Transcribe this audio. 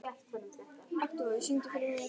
Hún var ekki lengur eins sæt og hún hafði verið.